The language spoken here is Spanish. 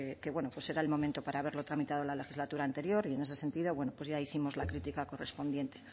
que bueno pues era el momento para haberlo tramitado en la legislatura anterior y ese sentido bueno pues ya hicimos la crítica correspondiente